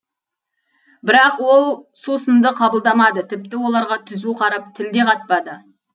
бірақ ол сусынды қабылдамады тіпті оларға түзу қарап тіл де қатпады